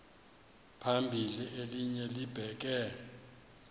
phambili elinye libheke